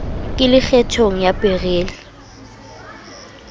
ke le kgethong ya beryl